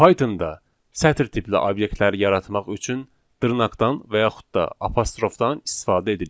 Pythonda sətir tipli obyektləri yaratmaq üçün dırnaqdan və yaxud da apostrofdan istifadə edilir.